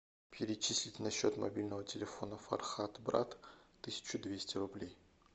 перечислить на счет мобильного телефона фархат брат тысячу двести рублей